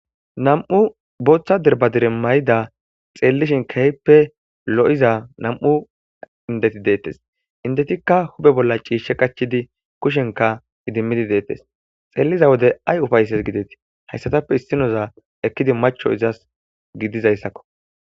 Nam'u booththa derbadire may'ida xeellishin keehppe lo'iza nam'u indeti deettes indetikka hube bolla ciishe qachchidi kushenka idimmidi deettes xeelliza wode ay ufaysses gidetii hayssatappe issinoza ekkidi macho izas gidizayssakko